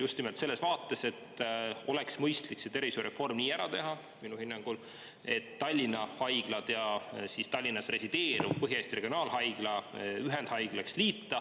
Just nimelt selles vaates, et minu hinnangul oleks mõistlik see tervishoiureform nii ära teha, et liita Tallinna haiglad ja Tallinnas resideeruv Põhja-Eesti Regionaalhaigla ühendhaiglaks.